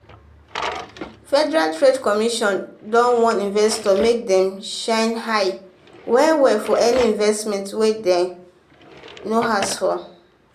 federal trade commission don um warn investors make dem shine um eye for any investment wey dem um no ask for.